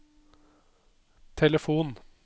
telefon